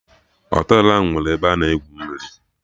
Họtelụ ahụ enwere ebe a na-egwu mmiri?